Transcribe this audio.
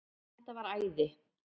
Það væri æði